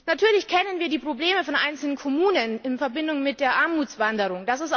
Natürlich kennen wir die Probleme einzelner Kommunen in Verbindung mit der Armutswanderung.